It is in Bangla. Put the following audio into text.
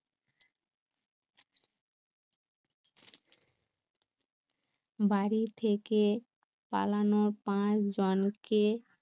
বাড়ি থেকে পালানো পাঁচ জনকে